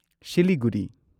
Siliguri